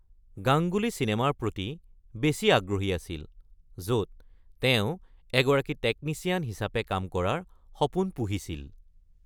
গাংগুলী চিনেমাৰ প্ৰতি বেছি আগ্ৰহী আছিল, য’ত তেওঁ এগৰাকী টেকনিশ্যন হিচাপে কাম কৰাৰ সপোন পুহিছিল।